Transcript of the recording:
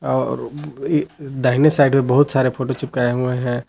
और भी दाहिने साइड में बहुत सारे फोटो चिपकाये हुए है।